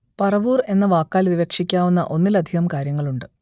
പറവൂർ എന്ന വാക്കാൽ വിവക്ഷിക്കാവുന്ന ഒന്നിലധികം കാര്യങ്ങളുണ്ട്